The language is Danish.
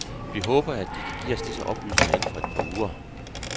Vi håber, at De kan give os disse oplysninger inden for et par uger.